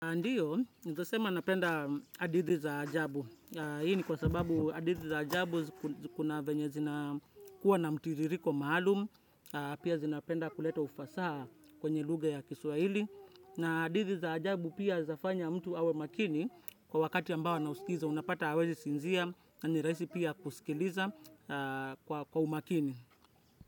Ndio, nitasema napenda hadithi za ajabu. Hii ni kwa sababu hadithi za ajabu kuna venye zina kuwa na mtiririko maalum. Pia zinapenda kuleta ufasaha kwenye lugha ya kiswaili. Na hadithi za ajabu pia zafanya mtu awe maakini kwa wakati ambao ana usikiza unapata hawezi sinzia. Na ni rahisi pia kusikiliza kwa umakini.